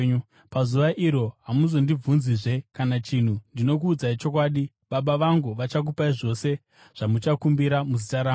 Pazuva iro hamuzondibvunzizve kana chinhu. Ndinokuudzai chokwadi, Baba vangu vachakupai zvose zvamuchakumbira muzita rangu.